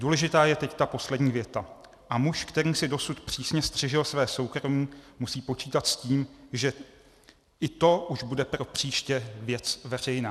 Důležitá je teď ta poslední věta: "A muž, který si dosud přísně střežil své soukromí, musí počítat s tím, že i to už bude pro příště věc veřejná."